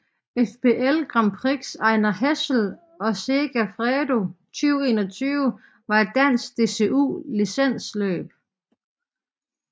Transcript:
FBL Grand Prix Ejner Hessel og Segafredo 2021 var et dansk DCU licensløb